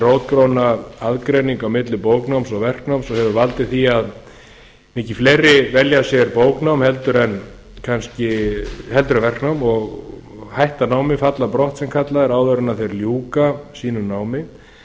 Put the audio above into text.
rótgróna aðgreining á milli bóknáms og verknáms og hefur valdið því að mikið fleiri velja sér bóknám en verknám og hætta námi falla brott sem kallað er áður en þeir ljúka sínu námi í